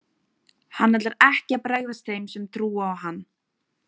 Hann ætlar ekki að bregðast þeim sem trúa á hann.